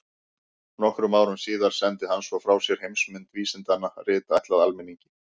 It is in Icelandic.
Nokkrum árum síðar sendi hann svo frá sér Heimsmynd vísindanna, rit ætlað almenningi.